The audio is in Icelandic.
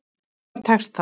Og greinilega tekist það.